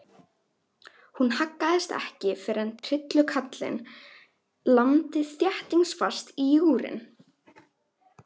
Hún haggaðist ekki fyrr en trillukarlinn lamdi þéttingsfast í júgrin.